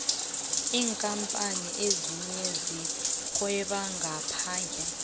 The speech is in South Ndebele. iinkapani ezinye zirhweba ngaphandle